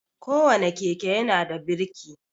Ko wane keke ya na da birki